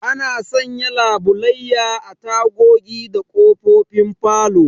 Ana sanya labulayya a tagogi da ƙofofin falo